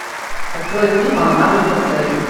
открой фильм алмазы цирцеи